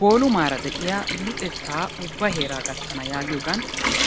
Bolumaraa de'iyaa luxettaa ubba heraa gattanna giyoganni